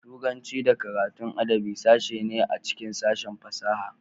Turanci da karatun adabi sashe ne a cikin sashen fasaha.